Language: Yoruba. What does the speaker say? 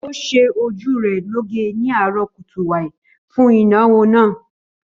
Ó ṣe ojú rẹ̀ lọ́ge ni àárọ̀ kùtùàì fún ìnáwó náà